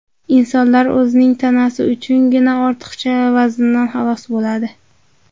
Insonlar o‘zining tanasi uchungina ortiqcha vazndan xalos bo‘ladi.